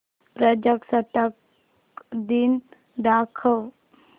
प्रजासत्ताक दिन दाखव